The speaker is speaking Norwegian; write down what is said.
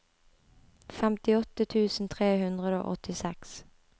femtiåtte tusen tre hundre og åttiseks